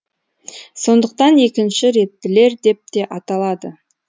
сондықтан екінші реттілер деп те аталады